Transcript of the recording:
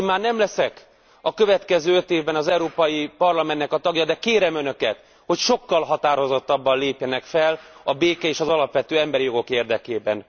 Én már nem leszek a következő öt évben az Európai Parlamentnek a tagja, de kérem Önöket, hogy sokkal határozottabban lépjenek fel a béke és az alapvető emberi jogok érdekében.